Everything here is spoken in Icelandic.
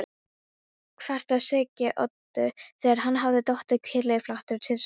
kvartaði Siggi Öddu, þegar hann hafði dottið kylliflatur tvisvar sinnum.